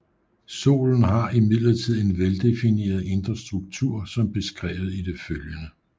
Solen har imidlertid en veldefineret indre struktur som beskrevet i det følgende